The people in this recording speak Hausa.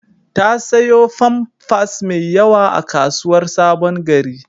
Ta sayo famfas mai yawa a kasuwar Sabon-gari.